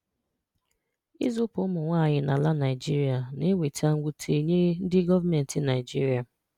Ìzùpù ụmụ̀nwàànyị n’ala Naijirìà na-ewètà nwùtè nye ndị gọọ̀mentị Naijirìà